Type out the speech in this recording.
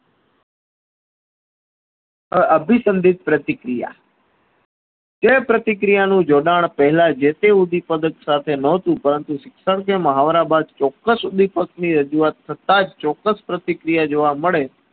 અભિસન્દીપ પ્રતિક્રિયા જે પ્રતિ ક્રિયાનું જોડાણ પહેલા જેથી ઉદીપગ્થ સાથે નોહતુ પરંતુ શિક્ષણ જે મહાવરા ચોક્કસ સુધી પહોચી કરતા જ ચોક્સ પ્રતિક્રિયા જોવા મળે